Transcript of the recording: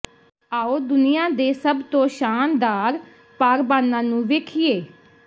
ਆਉ ਦੁਨੀਆਂ ਦੇ ਸਭ ਤੋਂ ਸ਼ਾਨਦਾਰ ਪਾਰਬਾਨਾਂ ਨੂੰ ਵੇਖੀਏ